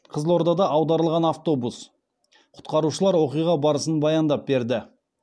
қызылордада аударылған автобус құтқарушылар оқиға барысын баяндап берді